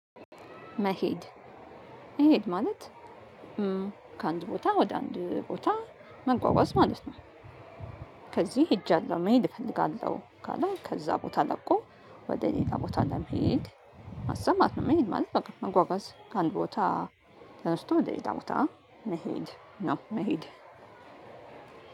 መሄድ መሄድ ማለት ከአንድ ቦታ ወደ አንድ ቦታ መጓጓዝ ማለት ነው። ከዚህ ሄጃለሁ መሄድ እፈልጋለሁ ካለ ከዛ ቦታ ለቆ ወደ ሌላ ቦታ እንደምሄድ ማሰማት ነው። መሄድ ማለት በቃ መጓጓዝ ከአንድ ቦታ ተነስቶ ወደ ሌላ ቦታ መሄድ ነው መሄድ